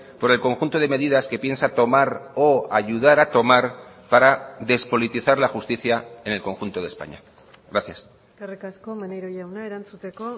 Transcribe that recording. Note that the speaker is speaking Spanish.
por el conjunto de medidas que piensa tomar o ayudar a tomar para despolitizar la justicia en el conjunto de españa gracias eskerrik asko maneiro jauna erantzuteko